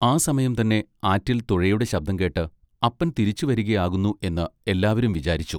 ആ സമയം തന്നെ ആറ്റിൽ തുഴയുടെ ശബ്ദം കേട്ട് അപ്പൻ തിരിച്ചു വരിക ആകുന്നു എന്ന് എല്ലാവരും വിചാരിച്ചു.